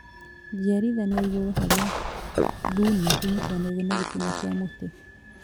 Njiarithanio ya igũrũ harĩa thuna inyitithanagio na gĩtina kia mũtĩ